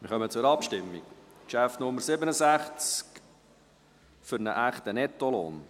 Wir kommen zur Abstimmung über Traktandum Nummer 67, «Für einen echten Nettolohn».